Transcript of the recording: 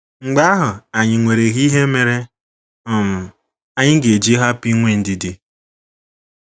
Mgbe ahụ, ànyị nwereghi ihe mere um anyị ga - eji hapụ inwe ndidi?